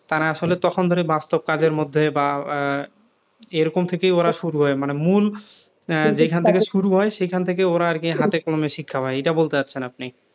আসলে তখন থেকে বাস্তব তাদের মধ্যে বা এরকম থেকেই ওরা শুরু হয় মানে মূল যেখান থেকে শুরু হয় সেখান থেকে ওরা আর কি হাতে কলমে শিক্ষা পায় এটা বলতে চাইছেন আপনি,